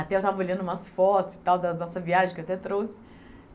Até eu estava olhando umas fotos e tal da nossa viagem que eu até trouxe.